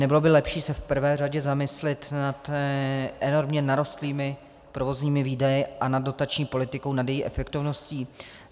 Nebylo by lepší se v prvé řadě zamyslit nad enormně narostlými provozními výdaji a nad dotační politikou, nad její efektivností?